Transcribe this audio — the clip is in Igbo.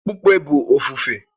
Okpukpe bụ ofufe